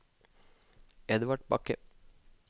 Edvard Bakke